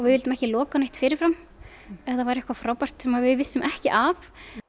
vildum ekki loka á neitt fyrir fram ef það væri eitthvað frábært sem við vissum ekki af